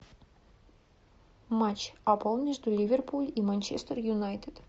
матч апл между ливерпуль и манчестер юнайтед